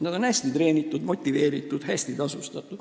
Nad on hästi treenitud, motiveeritud ja hästi tasustatud.